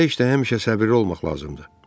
Belə işdə həmişə səbirli olmaq lazımdır.